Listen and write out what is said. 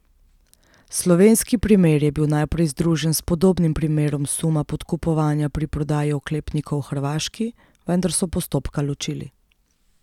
Slovenski primer je bil najprej združen s podobnim primerom suma podkupovanja pri prodaji oklepnikov Hrvaški, vendar so postopka ločili.